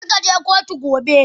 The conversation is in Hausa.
Kar kaje kotu gobe.